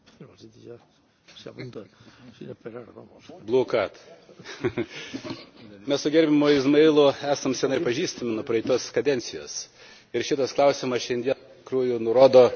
Mes su gerbiamu Izmailu esame senai pažįstami nuo praėjusios kadencijos ir šitas klausimas šiandien iš tikrųjų nurodo, kad pačioje Europos Sąjungoje yra daug neišspręstų klausimų.